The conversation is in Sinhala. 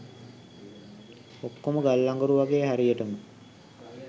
ඔක්කොම ගල් අඟුරු වගෙයි හරියටම